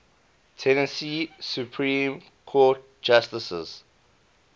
tennessee supreme court justices